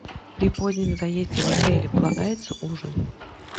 при позднем заезде в отеле полагается ужин